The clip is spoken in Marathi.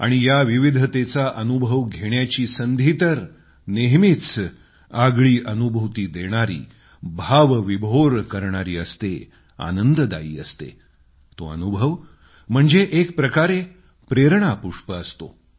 आणि या विविधतेचा अनुभव करण्याची संधी तर नेहमीच आगळी अनुभूती देणारी भावविभोर करणारी असते आनंददायी असते तो अनुभव म्हणजे एक प्रकारे प्रेरणापुष्प असतो